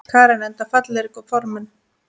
Karen: Enda fallegir formenn?